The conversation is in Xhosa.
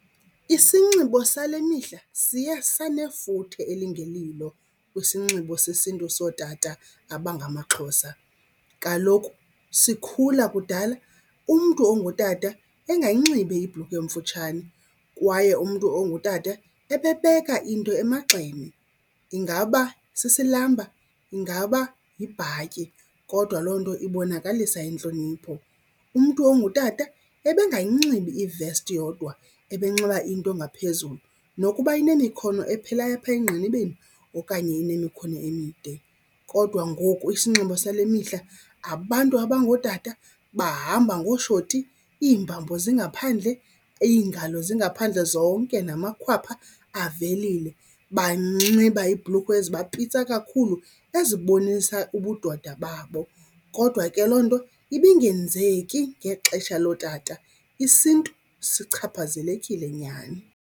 Isinxibo sale mihla siye sanefuthe elingelilo kwisinxibo sesiNtu sootata abangamaXhosa. Kaloku sikhula kudala umntu ongutata engayinxibi ibhlukhwe emfutshane kwaye umntu ongutata ebebeka into emagxeni, ingaba sisilamba, ingaba yibhatyi kodwa loo nto ibonakalisa intlonipho. Umntu ongutata ebengayinxibi ivesti yodwa ebenxiba into ngaphezulu nokuba inemikhono ephelayo apha engqinibeni okanye enemikhono emide. Kodwa ngoku isinxibo sale mihla abantu abangootata bahamba ngooshoti, iimbambo zingaphandle, iingalo zingaphandle, zonke namakhwapha avelile. Banxiba iibhlukhwe ezibapitsa kakhulu ezibonisa ubudoda babo. Kodwa ke loo nto ibingenzeki ngexesha lootata, isiNtu sichaphazelekile nyhani.